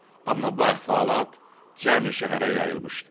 Amma bu əhvalat cəmi şəhərə yayılmışdı.